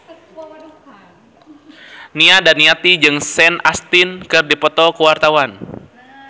Nia Daniati jeung Sean Astin keur dipoto ku wartawan